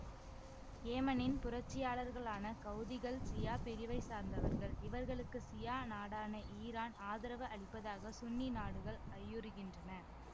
ஏமனின் புரட்சியாளர்களான கௌதிகள் சியா பிரிவை சார்ந்தவர்கள் இவர்களுக்கு சியா நாடான ஈரான் ஆதரவு அளிப்பதாக சுன்னி நாடுகள் ஐயுறுகின்றன